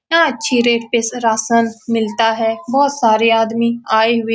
यह अच्छी रेट पे राशन मिलता है बोहोत सारे आदमी आए हुए --